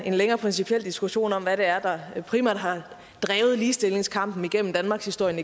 en længere principiel diskussion om hvad det er der primært har drevet ligestillingskampen igennem danmarkshistorien